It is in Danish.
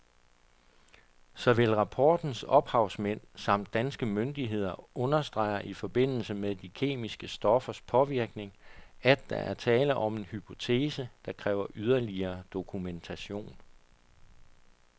Såvel rapportens ophavsmænd samt danske myndigheder understreger i forbindelse med de kemiske stoffers påvirkning, at der er tale om en hypotese, der kræver yderligere dokumentation.